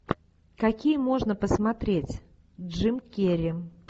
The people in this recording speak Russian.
какие можно посмотреть джим керри